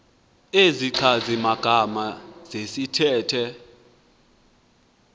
izichazi magama zesithethe